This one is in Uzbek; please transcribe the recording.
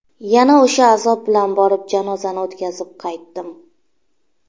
Yana o‘sha azob bilan borib, janozani o‘tkazib qaytdim.